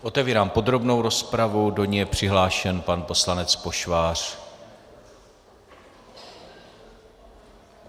Otevírám podrobnou rozpravu, do ní je přihlášen pan poslanec Pošvář.